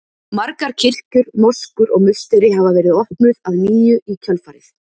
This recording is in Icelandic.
Margar kirkjur, moskur og musteri hafa verið opnuð að nýju í kjölfarið.